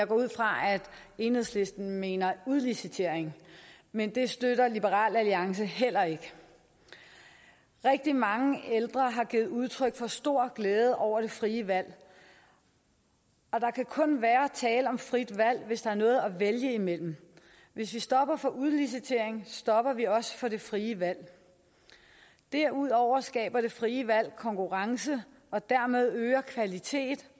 går ud fra at enhedslisten mener udlicitering men det støtter liberal alliance heller ikke rigtig mange ældre har givet udtryk for stor glæde over det frie valg og der kan kun være tale om frit valg hvis der er noget at vælge imellem hvis vi stopper for udlicitering stopper vi også for det frie valg derudover skaber det frie valg konkurrence og dermed øget kvalitet